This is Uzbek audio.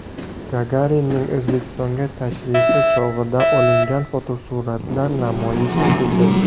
Gagarinning O‘zbekistonga tashrifi chog‘ida olingan fotosuratlar namoyish etildi.